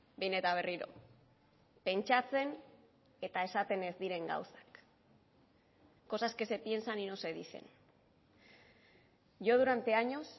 behin eta berriro pentsatzen eta esaten ez diren gauzak cosas que se piensan y no se dicen yo durante años